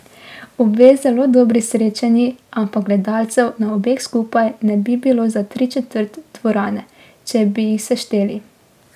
Obe zelo dobri srečanji, ampak gledalcev na obeh skupaj ne bi bilo za tri četrt dvorane, če bi jih sešteli.